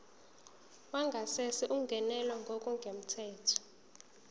wangasese ungenelwe ngokungemthetho